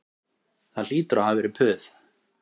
Það hlýtur að hafa verið puð